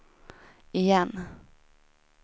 igen